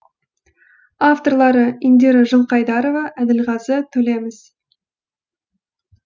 авторлары индира жылқайдарова әділғазы төлеміс